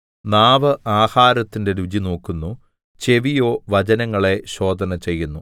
നാവ് ആഹാരത്തിന്റെ രുചിനോക്കുന്നു ചെവിയോ വചനങ്ങളെ ശോധനചെയ്യുന്നു